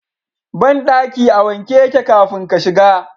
Bandaki a wanke yake kafin ka shiga.